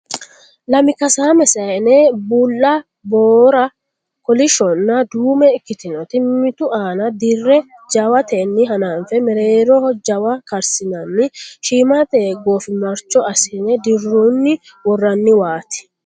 Lami kasaame saayinna bulla, boora, kolishshonna duume ikkitinota mimmitu aana dirre jawatey hananfe mereeroho jawa karsinanni shiimatey goofimarcho assine dirunni worroonniwaati.